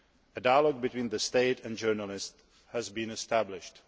A dialogue between the state and journalists has been established.